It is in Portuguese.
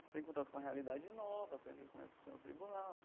Você tem contato com a realidade nova, aprender como é que funciona o tribunal.